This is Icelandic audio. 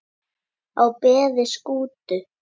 á beði Skútu